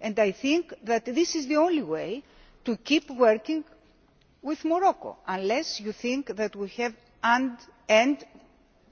And I think that this is the only way to keep working with Morocco, unless you think that we have to end